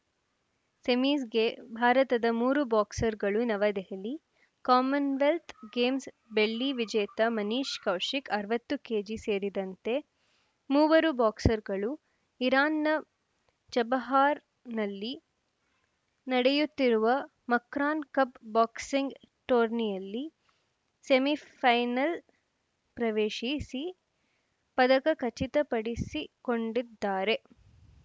ಸೆಮೀಸ್‌ಗೆ ಭಾರತದ ಮೂರು ಬಾಕ್ಸರ್‌ಗಳು ನವದೆಹಲಿ ಕಾಮನ್‌ವೆಲ್ತ್‌ ಗೇಮ್ಸ್‌ ಬೆಳ್ಳಿ ವಿಜೇತ ಮನೀಶ್‌ ಕೌಶಿಕ್‌ ಅರವತ್ತು ಕೆಜಿ ಸೇರಿದಂತೆ ಮೂವರು ಬಾಕ್ಸರ್‌ಗಳು ಇರಾನ್‌ನ ಚಬಹಾರ್‌ನಲ್ಲಿ ನಡೆಯುತ್ತಿರುವ ಮಕ್ರಾನ್‌ ಕಪ್‌ ಬಾಕ್ಸಿಂಗ್‌ ಟೂರ್ನಿಯಲ್ಲಿ ಸೆಮಿಫೈನಲ್‌ ಪ್ರವೇಶಿಸಿ ಪದಕ ಖಚಿತಪಡಿಸಿಕೊಂಡಿದ್ದಾರೆ